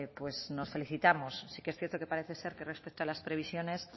pues nos felicitamos sí que es cierto que parece ser que respecto a las previsiones